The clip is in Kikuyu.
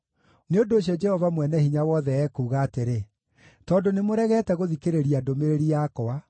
Nĩ ũndũ ũcio Jehova Mwene-Hinya-Wothe ekuuga atĩrĩ: “Tondũ nĩmũregete gũthikĩrĩria ndũmĩrĩri yakwa,